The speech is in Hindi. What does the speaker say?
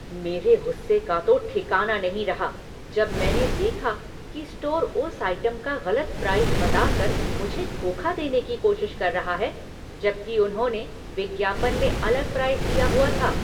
मेरे गुस्से का तो ठिकाना नहीं रहा जब मैंने देखा कि स्टोर उस आइटम का गलत प्राइस बताकर मुझे धोखा देने की कोशिश कर रहा है, जबकि उन्होंने विज्ञापन में अलग प्राइस दिया हुआ था।